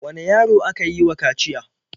Wane yaro aka yi wa kaciya?